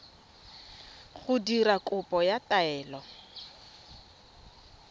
go dira kopo ya taelo